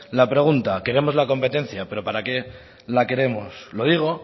la pregunta queremos la competencia pero para qué la queremos lo digo